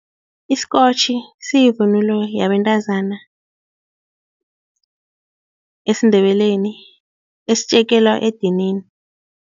Isikotjhi siyivunulo yabantazana esiNdebeleni esitjekela edinini.